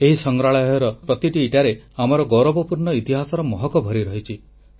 ଏହି ସଂଗ୍ରହାଳୟର ପ୍ରତିଟି ଇଟାରେ ଆମର ଗୌରବପୂର୍ଣ୍ଣ ଇତିହାସର ମହକ ଭରି ରହିଛି